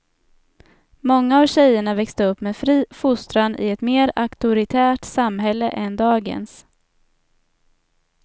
Många av tjejerna växte upp med fri fostran i ett mer auktoritärt samhälle än dagens.